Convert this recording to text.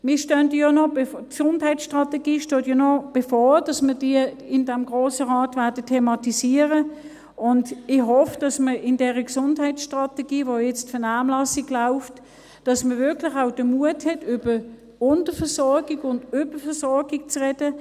Es steht ja noch bevor, dass wir die Gesundheitsstrategie im Grossen Rat thematisieren werden, und ich hoffe, dass man in dieser Gesundheitsstrategie, zu der jetzt die Vernehmlassung läuft, wirklich auch den Mut hat, über Unterversorgung und Überversorgung zu sprechen.